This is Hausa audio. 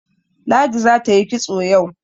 Ladi za ta yi kitso yau.